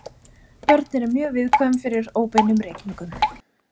Börn eru mjög viðkvæm fyrir óbeinum reykingum.